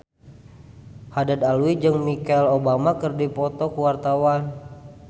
Haddad Alwi jeung Michelle Obama keur dipoto ku wartawan